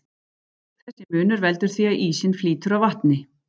Þessi munur veldur því að ísinn flýtur á vatni.